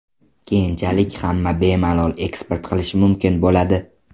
Keyinchalik hamma bemalol eksport qilishi mumkin bo‘ladi.